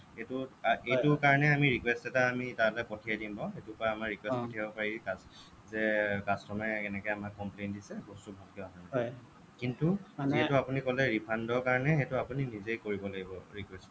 এইটো এইটো কাৰণে আমি request এটা আমি তালৈ পঠিয়াই দিম বাৰু request পঠিয়াব পাৰি যে customer এ কেনেকৈ আমাক complain দিছে বস্তু ভালকৈ অহা নাই কিন্তু যিহেতু refund ৰ কাৰণে সেইটো আপুনি নিজেই কৰিব লাগিব request